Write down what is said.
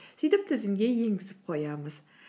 сөйтіп тізімге енгізіп қоямыз